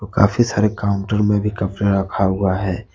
काफी सारे काउंटर में भी कपड़ा रखा हुआ है।